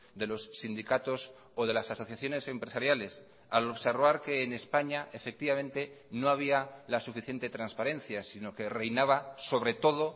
de los sindicatos o de las asociaciones empresariales al observar que en españa efectivamente no había la suficiente transparencia sino que reinaba sobre todo